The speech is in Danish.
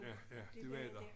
Ja ja ja det var der